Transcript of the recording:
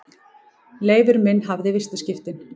Leifur minn hafði vistaskiptin.